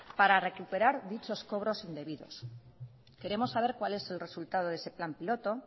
para recuperar dichos cobros indebidos queremos saber cuál es el resultado de ese plan piloto